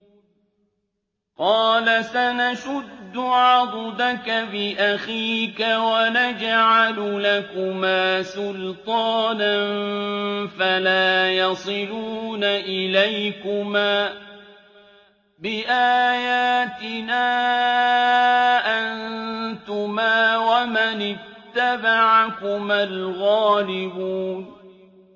قَالَ سَنَشُدُّ عَضُدَكَ بِأَخِيكَ وَنَجْعَلُ لَكُمَا سُلْطَانًا فَلَا يَصِلُونَ إِلَيْكُمَا ۚ بِآيَاتِنَا أَنتُمَا وَمَنِ اتَّبَعَكُمَا الْغَالِبُونَ